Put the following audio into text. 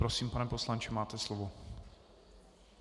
Prosím, pane poslanče, máte slovo.